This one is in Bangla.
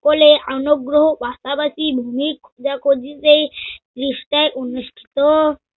সকলে আনুগ্রহ পাশাপাশি ভুমি খোঁজা-খুঁজিতেই বিষ্টায় অনুষ্ঠিত